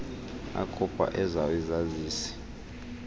akhupha ezawo izazisi